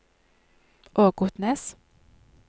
Ågotnes